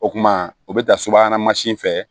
O kuma o bɛ taa subahana mansin fɛ